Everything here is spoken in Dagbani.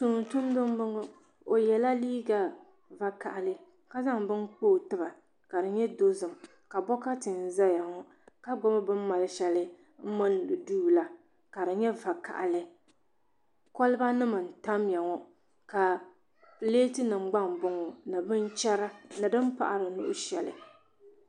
Tumtumdi m boŋɔ o yela liiga vakahali ka zaŋ bini kpa o tiba ka di nyɛ dozim bokati n zaya ŋɔ ka gbibi bini mali sheli m mindi duu la ka di nyɛ vakahali koliba nima n tamya ŋɔ ka pileti nima gba m boŋɔ binchera ni bini paɣari nuhi shelipolo.